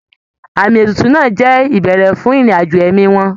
Àmì ètùtù náà á jẹ́ ìbẹ̀rẹ̀ fún ìrìn àjò ẹ̀mí wọn